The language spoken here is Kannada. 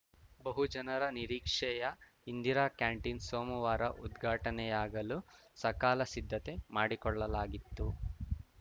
ಬಹುಜನರ ನಿರೀಕ್ಷೆಯ ಇಂದಿರಾ ಕ್ಯಾಂಟೀನ್‌ ಸೋಮವಾರ ಉದ್ಘಾಟನೆಯಾಗಲು ಸಕಾಲ ಸಿದ್ದತೆ ಮಾಡಿಕೊಳ್ಳಲಾಗಿತ್ತು